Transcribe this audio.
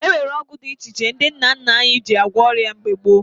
E nwere ọgwụ dị iche iche ndị nna nna anyị ji gwọọ ọrịa mgbe gboo